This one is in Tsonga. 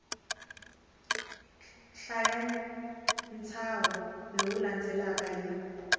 hlaya ntshaho lowu landzelaka hi